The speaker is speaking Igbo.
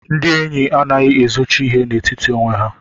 Ndị enyi anaghị ezochi ihe n'etiti onwe ha.